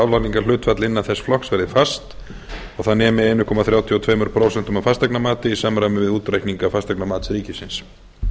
álagningarhlutfall innan þess flokks verði fast og það nemi einn komma fjörutíu og þrjú prósent af fasteignamati í samræmi við útreikninga fasteignamats ríkisins